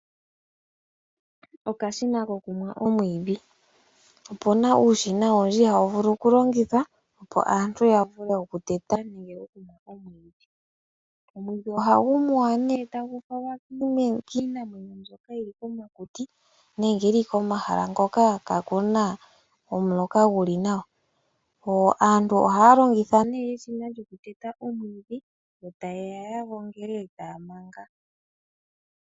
Okashina kokumwa omwiidhi. Opu na uushina owundji hawu vulu okulongithwa opo aantu ya vule oku teta nenge okumwa omwiidhi. Omwiidhi ohagu muwa nee tagu falwa kiinamwenyo mbyoka yili komakuti nenge tagu falwa komahala hoka kaaku na omuloka gu li nawa. Aantu ohaya longitha nee eshina lyokuteta omwiidhi, yo taye ya ya gongele e taya manga.